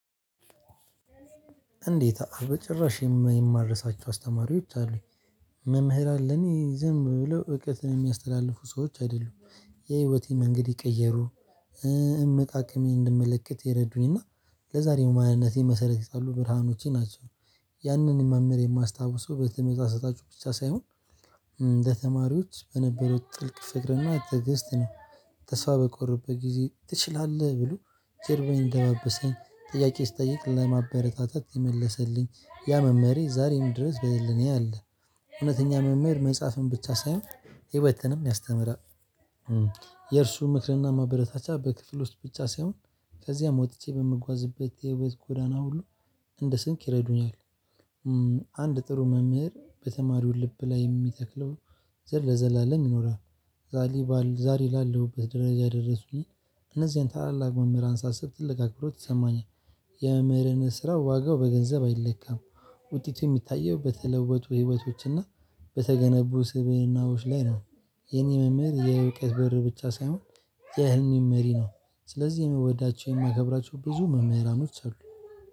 እንዴት በጭራሽ የማልርሳቸው አስተማሪዎች አሉኝ። መምህር አለኝ ዝም ብሎ እውቀትን የሚያስተላልፉ ሰዎች አይደሉም። የህይወቴ መንገድ የቀየሩ። እምቅ አቅሜን እንድመለከት የረዱኝ እና ለዛሬው ማንነቴን መሰረት የጣሉ ብርሃኖቼ ናቸው። ያንን ማምህር የማስታውሰው በተመጣጣጭ ብቻ ሳይሆን እንደ ተማሪዎች በነበረው ጥልቅ ፍቅርና ትግስት ነው። ተስፋ በቆረጥኩበት ጊዜ ትችላለህ ብሎ ጀርባዬን እያደባበሰኝ ጥያቄ ስጠይቅ ለማበረታታት የመለሰልኝ ያ መመሬ ዛሬም ድረስ በሕልናዬ ያለ። እውነተኛ መመሪ መጽሐፍን ብቻ ሳይሆን ሕይወትንም ያስተምራል። የእርሱ ምክርና መበረታቻ በክፍል ውስጥ ብቻ ሳይሆን ከዚያም ወጥቼ በምጓዝበት የውበት ጎዳና ሁሉ እንደ ስንቅ ይረዱኛል። አንድ ጥሩ መምህር በተማሪው ልብ ላይ የሚተክለው ዘር ለዘላለም ይኖራል። ዛሬ ዛሬ ላለሁበት ደረጃ ደረሱኝ። እነዚህን ታላላቅ መምህር ሳስብ ትልቅ አክብሮት ይሰማኛል። የመምህርን ስራ ዋጋው በገንዘብ አይለካም። ውጤቱ የሚታየው በተለወጡ ህይወቶችና በተገነቡ ስብእናዎች ላይ ነው። የኔ መምህር የእውቀት በር ብቻ ሳይሆን የየህልሜም መሪ ነው። ስለዚህ የምወዳቸው የማከብራቸው ብዙ መምህራኖች አሉ